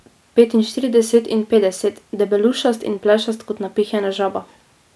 Star je bil med petinštirideset in petdeset, debelušast in plešast kot napihnjena žaba.